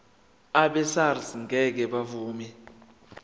abesars ngeke bavuma